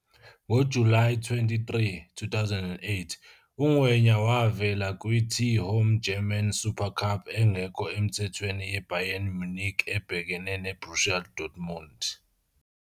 NgoJulayi 23, 2008, uNgwenya wavela kwi-T-Home German Supercup engekho emthethweni yeBayern Munich ibhekene neBorussia Dortmund.